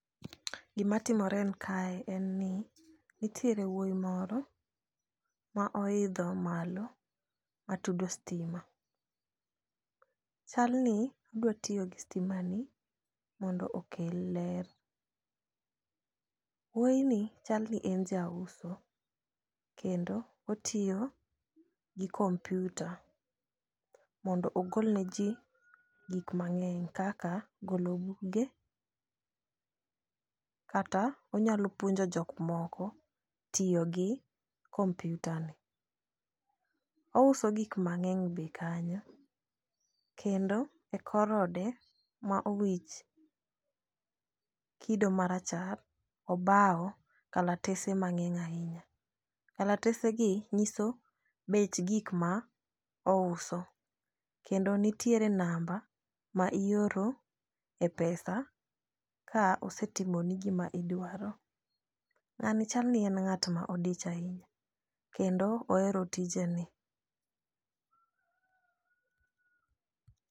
Gi matimore kae en ni, nitiere wuoyi moro, ma oidho malo, ma tudo stima. Chalni odwa tiyo gi stima ni, mondo okel ler. Wuoyi ni chalni en jauso, kendo otiyo gi kompyuta, mondo ogolne ji gik mang'eny kaka golo buge, kata onyalo puonjo jok moko tiyo gi kompyuta ni. Ouso gik mang'eny be kanyo. Kendo e korode, ma owich kido marachar obawo kalatese mang'eny ahinya. Kalatese gi nyiso bech gik ma ouso, kendo nitiere namba ma ioro e pesa, ka osetimoni gi ma idwaro. Ng'ani chalni en ng'at ma odich ahinya kendo ohero tijeni.